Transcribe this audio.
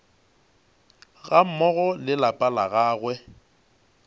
gammogo le lapa la gagwe